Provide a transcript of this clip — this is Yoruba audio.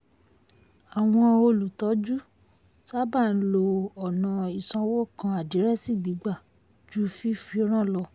àwọn olùtọ́jú sábà ń lo ọ̀nà ìsanwó kan àdírẹ́sì gbígbà ju fífi ran lọ.